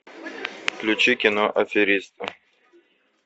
включи кино аферист